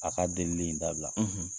A ka delili in dabila, .